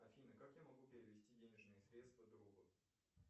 афина как я могу перевести денежные средства другу